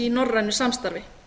í norrænu samstarfi